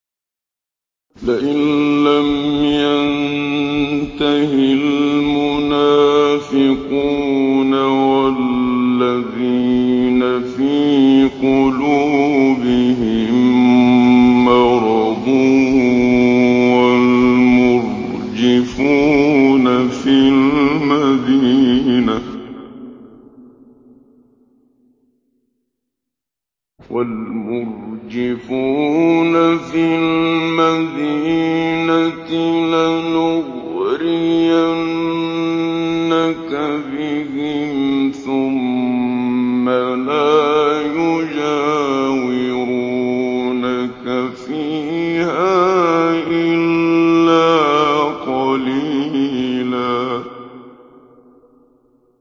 ۞ لَّئِن لَّمْ يَنتَهِ الْمُنَافِقُونَ وَالَّذِينَ فِي قُلُوبِهِم مَّرَضٌ وَالْمُرْجِفُونَ فِي الْمَدِينَةِ لَنُغْرِيَنَّكَ بِهِمْ ثُمَّ لَا يُجَاوِرُونَكَ فِيهَا إِلَّا قَلِيلًا